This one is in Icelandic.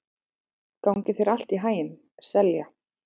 Gangi þér allt í haginn, Selja.